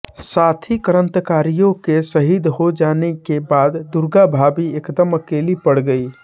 साथी क्रांतिकारियों के शहीद हो जाने के बाद दुर्गा भाभी एकदम अकेली पड़ गई